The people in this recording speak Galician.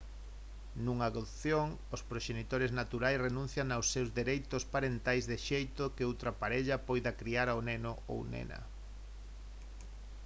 nunha adopción os proxenitores naturais renuncian aos seus dereitos parentais de xeito que outra parella poida criar ao neno ou nena